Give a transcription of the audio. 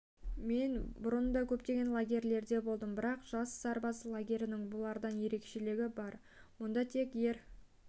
мен бұрын да көптеген лагерьлерде болдым бірақ жас сарбаз лагерінің бұлардан ерекшелігі бар мұнда тек ер